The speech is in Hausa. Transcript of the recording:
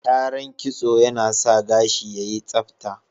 Kyaran kitso yana sa gashi yayi tsabta